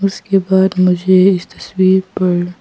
उसके बाद मुझे इस तस्वीर पर--